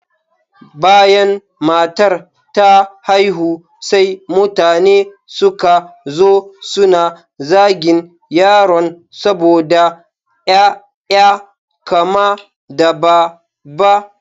Bayan matar ta haihu, sai mutane suka zo suna zagin yaron saboda ƴaƴa kama da dabba.